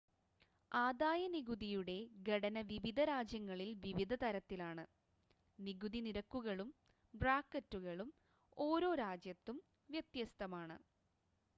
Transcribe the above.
ആദായ നികുതിയുടെ ഘടന വിവിധ രാജ്യങ്ങളിൽ വിവിധ തരത്തിലാണ് നികുതി നിരക്കുകളും ബ്രാക്കറ്റുകളും ഓരോ രാജ്യത്തും വ്യത്യസ്തമാണ്